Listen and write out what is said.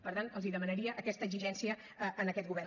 per tant els demanaria aquesta exigència a aquest govern